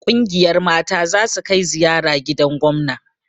Ƙungiyar mata zasu kai ziyara gidan gomna